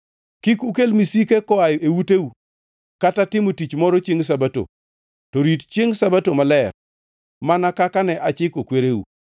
Kik ukel misike koa ei uteu kata timo tich moro chiengʼ Sabato, to rit chiengʼ Sabato maler, mana kaka ne achiko kwereu.